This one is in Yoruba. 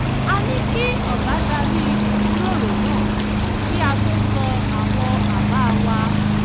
a ní kí ọ̀gá darí ìjíròrò náà kí a tó sọ àwọn àbá wa